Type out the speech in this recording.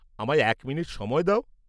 আমায় এক মিনিট সময় দাও।